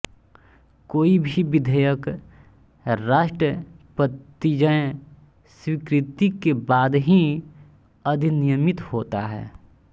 कोई भी विधेयक राष्ट्रपतिज्ंय स्वीकृति के बाद ही अधिनियमित होता है